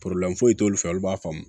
foyi t'olu fɛ olu b'a faamu